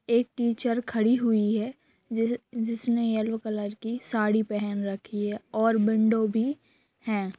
एक टीचर खड़ी हुई हैं जिस जिसने येलो कलर की साड़ी पहेन रखी है और विंडो भी हैं